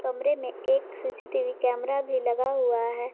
कमरे में एक सी_सी_टी_वी कैमरा भी लगा हुआ है।